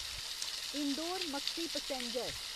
Indore Maksi passenger